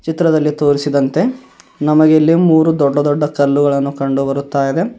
ಚಿತ್ರದಲ್ಲಿ ತೋರಿಸಿದಂತೆ ನಮಗೆ ಇಲ್ಲಿ ಮೂರು ದೊಡ್ಡ ದೊಡ್ಡ ಕಲ್ಲುಗಳನ್ನು ಕಂಡು ಬರುತ್ತಾ ಇದೆ.